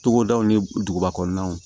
Togodaw ni duguba kɔnɔnaw